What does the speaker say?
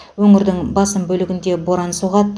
өңірдің басым бөлігінде боран соғады